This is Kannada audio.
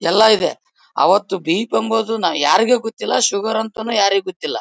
ಎಲ್ಲ ಇದೆ ಅವತು ಬಿ.ಪಿ. ಎಂಬುದು ಯಾರಿಗೆ ಗೊತ್ತಿಲ್ಲ ಶುಗರ್ ಅಂತಾನೂ ಯಾರಿಗೂ ಗೊತ್ತಿಲ್ಲ.